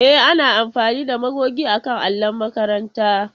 E, ana amfani da magogi akan allon makaranta.